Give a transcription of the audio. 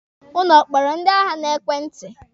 Ụnụ ọ kpọrọ ndị agha n'ekwenti?